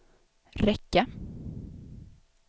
räcka